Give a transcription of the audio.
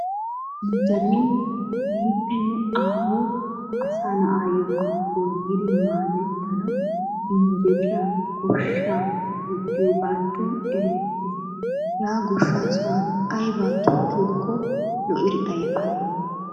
Nu derin nuuxiri aaho asaa na'aayokka goyiddi madettanawu injjettiyaa goshshaa injjettiyaa sohoy diyoogaatto erettees. Hegaa goshshaa sohuwan aybaa tokkiyokko lo'idi ayfanee?